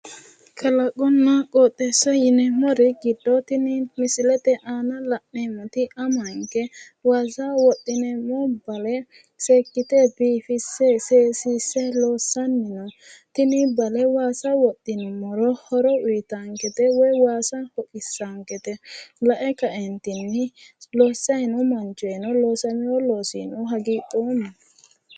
Kalaqonna qooxeessa yineemmori giddo tini misilete aana la'neemmoti amanke waasa wodhineemmo bale seekkite biifisse seesiisse loossanni no. Tini bale waasa wodhinummoro horo uyitaankete woyi waasa hoqissaankete. Lae kaeentinni loossayi noo manchoyino loosamiwo loosiino hagiidhoomma.